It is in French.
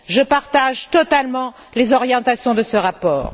Je partage totalement les orientations de ce rapport.